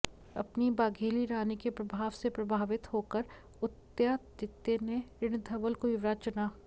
अपनी बाघेली रानी के प्रभाव से प्रभावित होकर उदयादित्य ने रिणधवल को युवराज चुना